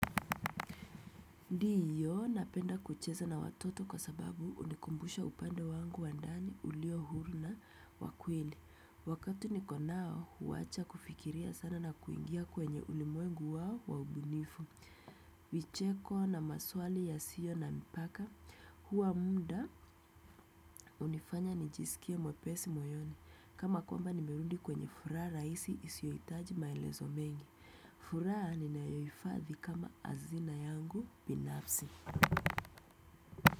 Ndio napenda kucheza na watoto kwa sababu hunikumbusha upande wangu wa ndani uliohuru na wa kweli. Wakati niko nao, huwacha kufikiria sana na kuingia kwenye ulimwengu wao waubunifu. Vicheko na maswali yasio na mipaka, huwa muda hunifanya nijisikie mwepesi moyoni. Kama kwamba nimerudi kwenye furaha raisi isiohitaji maelezo mengi. Furaha ninayohifadhi kama azina yangu binafsi. Kwa hivyo.